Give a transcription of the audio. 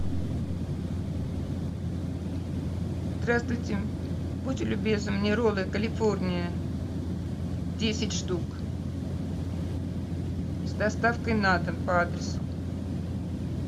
здравствуйте будьте любезны мне роллы калифорния десять штук с доставкой на дом по адресу